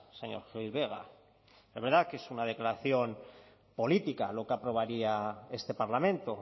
señor gil vegas es verdad que es una declaración política lo que aprobaría este parlamento